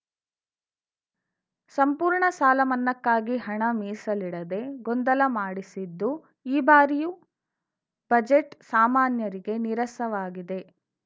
ಸಂಪೂರ್ಣ ಸಾಲ ಮನ್ನಾಕ್ಕಾಗಿ ಹಣ ಮೀಸಲಿಡದೆ ಗೊಂದಲ ಮಾಡಿಸಿದ್ದು ಈ ಬಾರಿಯು ಬಜೆಟ್‌ ಸಮಾನ್ಯರಿಗೆ ನೀರಸವಾಗಿದೆ